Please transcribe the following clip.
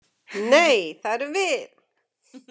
Nei, það erum við.